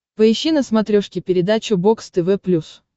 поищи на смотрешке передачу бокс тв плюс